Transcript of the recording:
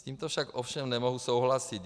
S tímto však ovšem nemohu souhlasit.